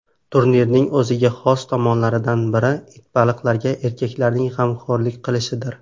Turning o‘ziga xos tomonlaridan biri itbaliqlarga erkaklarning g‘amxo‘rlik qilishidir.